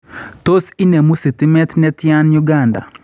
Tos inemuu stimeet netyan Uganda?